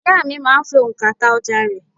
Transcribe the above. Ìyá à mi máa ń fi ònkà ta ọjà rẹ̀